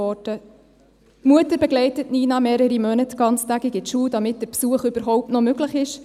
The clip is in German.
Die Mutter begleitet Nina mehrere Monate ganztägig in die Schule, damit der Besuch überhaupt noch möglich ist.